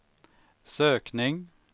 sökning